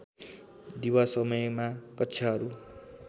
दिवा समयमा कक्षाहरू